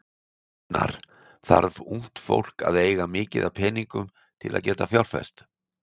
Gunnar: Þarf ungt fólk að eiga mikið af peningum til að geta fjárfest?